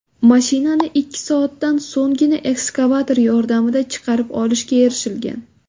Mashinani ikki soatdan so‘nggina ekskavator yordamida chiqarib olishga erishilgan.